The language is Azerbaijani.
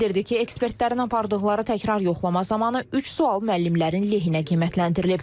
Bildirdi ki, ekspertlərin apardıqları təkrar yoxlama zamanı üç sual müəllimlərin lehinə qiymətləndirilib.